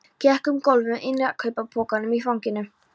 Gekk um gólf með innkaupapokann í fanginu.